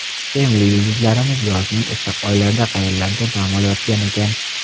Sevimli yulduzlarimiz yozning issiq oylarida qayerlarda dam olayotgan ekan?